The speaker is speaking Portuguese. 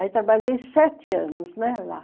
Aí trabalhei sete anos, né, lá.